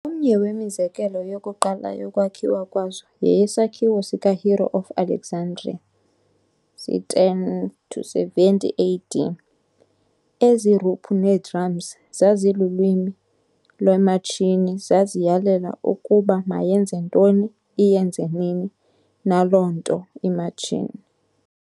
Omnye wemizekelo yokuqala yokwakhiwa kwazo yeyesakhiwo sikaHero of Alexandria c. 10-70 AD. Ezi-ruphu nee-drums zazilulwimi lwematshini- zaziyalela ukuba mayenze ntoni, iyenze nini na loo nto imatshini.